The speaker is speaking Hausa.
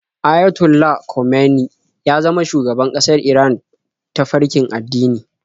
Ayatollah Khomeini ya zama shugaban ƙasar Iran ta farkin addini.